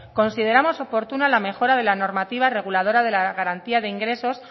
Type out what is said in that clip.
consideramos oportuna la mejora de la normativa reguladora de la garantía de ingresos